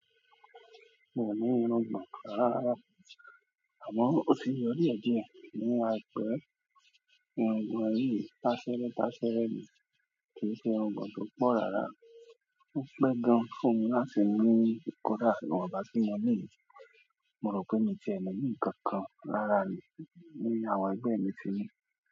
Mí ò ní irùngbọ̀n rárá, àmọ́ ó ti ń yọ díẹ̀díẹ̀ ní àìpẹ́. Irùngbọ̀n yìí, táṣẹ́rẹ́táṣẹ́rẹ́ ni, kì í ṣe irùngbọ̀n tó pọ̀ rárá. Ó pẹ́ gan-an fún mi láti ní kódà ìwọ̀nba tí mo ní yìí. Mo rò pé miì tiẹ̀ ní ní nǹkan kan rárá ni, ní àwọn ẹgbẹ́ mi ti ní.